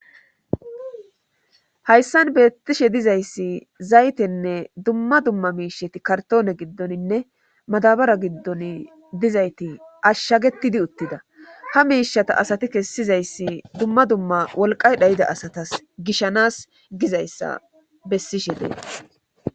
Haysan betishe dzaiysi zaytenne duma duma mishan kartone gidonne madabara gidon ashagetidi utida hamisha asay wolqay dhyda asas gishanas kesidaysa besishe dees.